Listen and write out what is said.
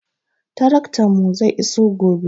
Taraktanmu zai iso gobe.